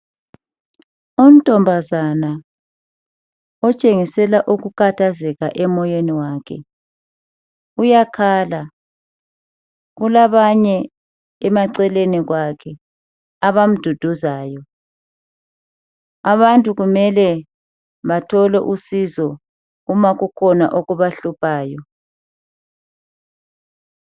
Untombazana otshenisela ukukhathazeka emoyeni wakhe uyakhala kulabanye emaceleni kwakhe abamduduzayo. Abantu kumele bathole usizo uma kukhona okubahluphayo.